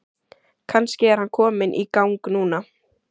Kannski er hann kominn í gang núna?